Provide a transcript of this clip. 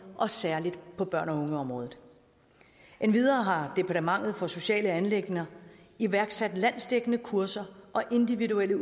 og særlig på børn og unge området endvidere har departementet for sociale anliggender iværksat landsdækkende kurser og individuelle